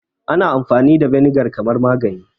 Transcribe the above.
Ana iya amfani da vinegar kamar magani